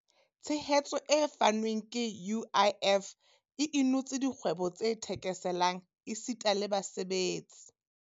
Tshehetso e fanweng ke UIF e inotse dikgwebo tse thekeselang esita le basebetsi.